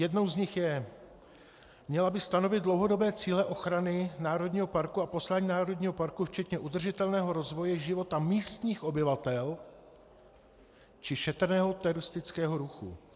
Jednou z nich je - měla by stanovit dlouhodobé cíle ochrany národního parku a poslání národního parku včetně udržitelného rozvoje života místních obyvatel či šetrného turistického ruchu.